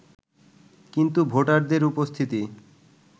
কিন্তু ভোটারদের উপস্থিতি